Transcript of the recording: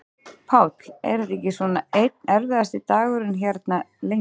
Páll: Er þetta ekki svona einn erfiðasti dagurinn hérna, lengi?